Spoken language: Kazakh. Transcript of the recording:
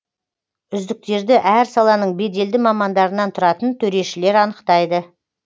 үздіктерді әр саланың беделді мамандарынан тұратын төрешілер анықтайды